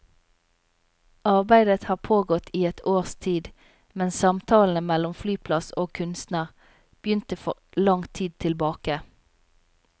Arbeidet har pågått i et års tid, men samtalene mellom flyplass og kunstner begynte for lang tid tilbake.